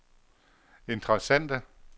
interessante